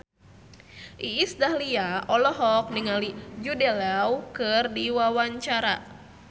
Iis Dahlia olohok ningali Jude Law keur diwawancara